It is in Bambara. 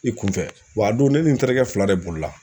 I kun fɛ wa a don ne ni n terikɛ fila de bolila.